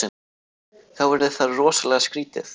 Þá yrði það rosalega skrítið.